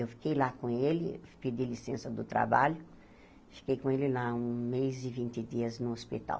Eu fiquei lá com ele, pedi licença do trabalho, fiquei com ele lá um mês e vinte dias no hospital.